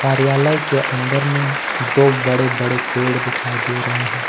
कार्यालय के अंदर में दो बड़े बड़े पेड़ दिखाई दे रहे हैं।